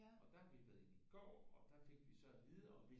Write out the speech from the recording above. Og der har vi været i går og der fik vi så at vide at